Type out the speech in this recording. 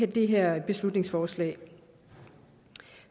det her beslutningsforslag